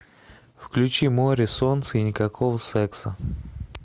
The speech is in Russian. включи море солнце и никакого секса